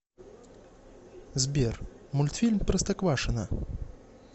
сбер мультфильм простоквашино